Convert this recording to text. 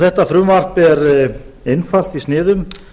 þetta frumvarp er einfalt í sniðum